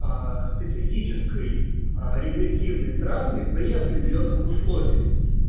специфической регрессивной травмы при определённых условиях